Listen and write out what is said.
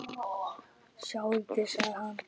Sjáðu til, sagði hann.